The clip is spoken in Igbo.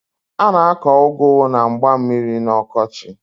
A na-akọ ụgụ na mgba mmiri n'ọkọchị.